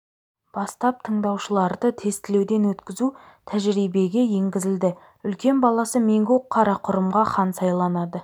бастап тыңдаушыларды тестілеуден өткізу тәжірибеге енгізілді үлкен баласы меңгу қарақұрымға хан сайланады